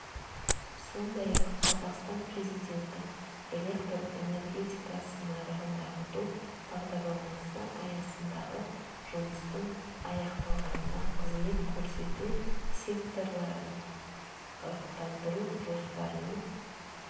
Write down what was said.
сондай-ақ қазақстан президенті электр энергетикасы нарығын дамыту бағдарламасы аясындағы жұмыстың аяқталғанына қызмет көрсету секторларын ырықтандыру жоспарының